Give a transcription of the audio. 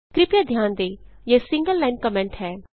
कृपया ध्यान दें यह सिंगल लाइन कमेंट है